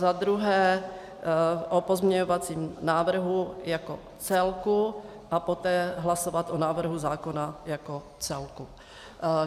Za druhé o pozměňovacím návrhu jako celku a poté hlasovat o návrhu zákona jako celku.